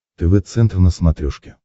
тв центр на смотрешке